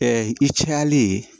i cayalen ye